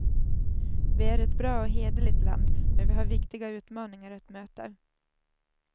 Vi är ett bra och hederligt land, men vi har viktiga utmaningar att möta.